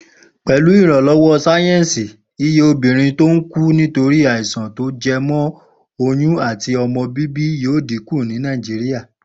Pè̩lú ìrànló̩wó̩ sáyé̩nsì, iye obìnrin tó ń kú nítorí àìsàn tó je̩mo̩ oyún àti o̩mo̩ bíbí yóò dínkù ní Nàìjíríà